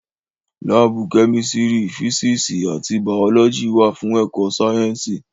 Láàbù Kẹ́mísírì, físíìsì àti Bàọ́lọ́jì wà fún ẹ̀kọ sáyẹ́ǹsì